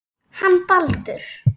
Hann Baldur.